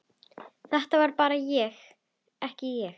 Þetta var bara ekki ég.